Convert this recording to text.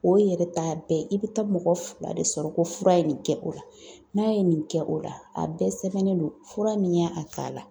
O yɛrɛ t'a bɛɛ ye, i bɛ taa mɔgɔ fila de sɔrɔ ko fura ye nin kɛ , o la n'a ye nin kɛ, o la a bɛɛ sɛbɛnnen don fura min y'a k'a la.